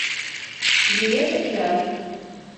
билет океан